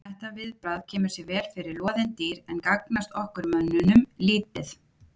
Þetta viðbragð kemur sér vel fyrir loðin dýr en gagnast okkur mönnunum lítið.